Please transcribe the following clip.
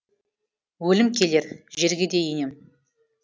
өлім келер жерге де енем